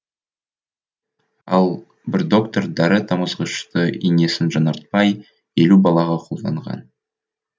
ал бір доктор дәрі тамызғышты инесін жаңартпай елу балаға қолданған